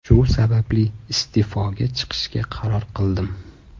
Shu sababli, iste’foga chiqishga qaror qildim.